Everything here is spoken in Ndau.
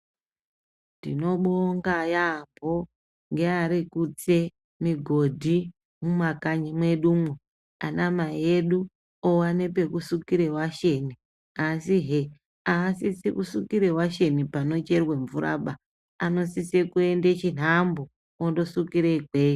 Tinobonga yaambo ngearikutse migodhi mumakanyi mwedumwo, ana mai edu owane pekusukire washeni, asihe aasisi kusukire washeni panocherwe mvuraba, anosise kuende chinhambo ondosukire ikweyo.